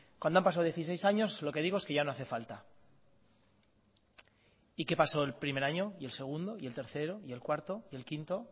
cuando han pasado dieciséis años lo que digo es que ya no hace falta y qué pasó el primer año y el segundo y el tercero y el cuarto y el quinto